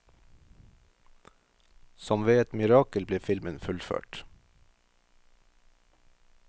Som ved et mirakel ble filmen fullført.